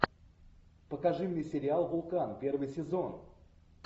покажи мне сериал вулкан первый сезон